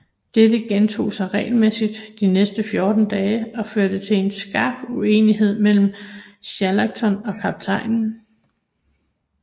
Dette gentog sig regelmæssigt de næste fjorten dage og førte til en skarp uenighed mellem Shackleton og kaptajnen